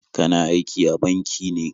Kana aiki a banki ne?